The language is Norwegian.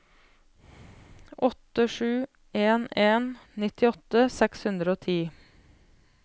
åtte sju en en nittiåtte seks hundre og ti